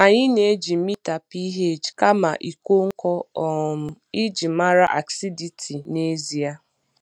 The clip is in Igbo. Anyị na-eji mita pH kama ịkọ nkọ um iji mara acidity n'ezie.